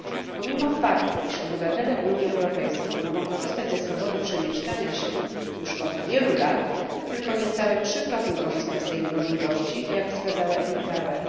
Pomimo faktu, że obywatele Unii Europejskiej mogą korzystać ze swobody przemieszczania się już od wielu lat, tylko niecałe 3 korzysta z tej możliwości, jak wskazała Edit Bauer.